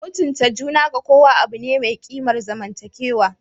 Mutunta juna ga kowa abu ne mai kimar zamantakewa